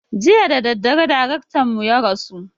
Jiya dadadare darektan mu ya rasu